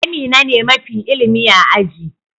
Amina ne mafi ilimi a aji.